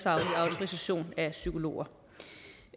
autorisation af psykologer